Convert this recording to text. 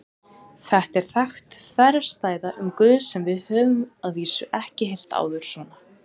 Þetta er þekkt þverstæða um Guð sem við höfum að vísu ekki heyrt áður svona.